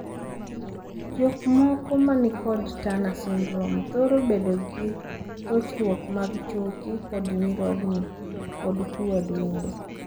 Jokmoko manikod Turner syndrome thoro bedogi rochruok mag choke kod nyirogno, kod tuo adundo.